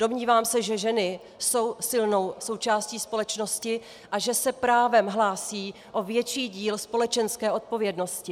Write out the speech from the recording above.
Domnívám se, že ženy jsou silnou součástí společnosti a že se právem hlásí o větší díl společenské odpovědnosti.